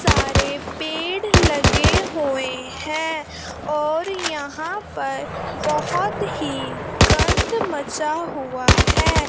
सारे पेड़ लगे हुए हैं और यहां पर बहोत ही गंध मचा हुआ है।